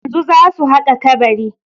Yanzu zasu haƙa kabari.